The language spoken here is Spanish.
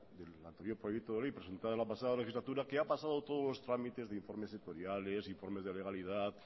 del anterior proyecto de ley presentada la pasada legislatura que ha pasado los trámites de informes sectoriales informes de legalidad